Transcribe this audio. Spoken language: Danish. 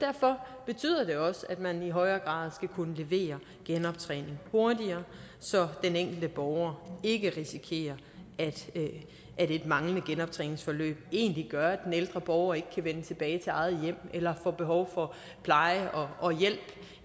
derfor betyder det også at man i højere grad skal kunne levere genoptræning hurtigere så den enkelte borger ikke risikerer at et manglende genoptræningsforløb egentlig gør at den ældre borger ikke kan vende tilbage til eget hjem eller får behov for pleje og hjælp